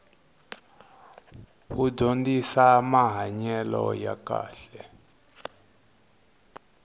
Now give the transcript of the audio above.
wu dyondzisamahanyelo ya kahle